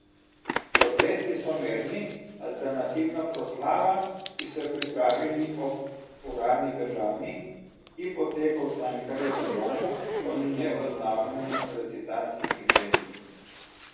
Protesti so mirni, alternativna proslava, ki so jo pripravili ob uradni državni, ki poteka v Cankarjevem domu, pa mineva v znamenju recitacij in pesmi.